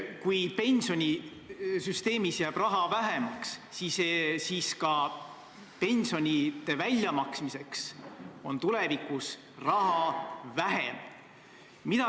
Kui pensionisüsteemis jääb raha vähemaks, siis ka pensionide väljamaksmiseks on tulevikus raha vähem.